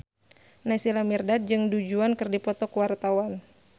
Naysila Mirdad jeung Du Juan keur dipoto ku wartawan